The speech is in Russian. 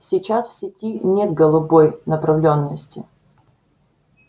сейчас в сети нет голубой направлённости